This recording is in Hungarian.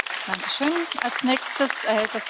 Tisztelt Elnök Asszony, kedves Kollégák!